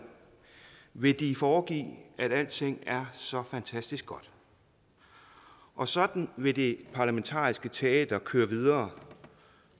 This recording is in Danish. vil de foregive at alting er så fantastisk godt og sådan vil det parlamentariske teater køre videre